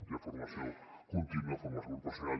hi ha formació contínua formació professional